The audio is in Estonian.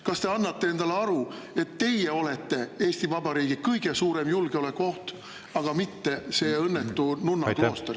Kas te annate endale aru, et teie olete Eesti Vabariigi kõige suurem julgeolekuoht, aga mitte see õnnetu nunnaklooster seal?